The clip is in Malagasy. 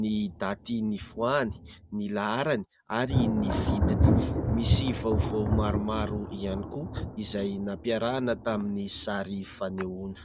ny daty nivoahany, ny laharany ary ny vidiny. Misy vaovao maromaro ihany koa izay nampiarahana tamin'ny sary fanehoana.